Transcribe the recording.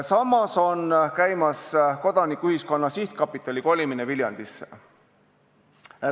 Samas on käimas Kodanikuühiskonna Sihtkapitali kolimine Viljandisse.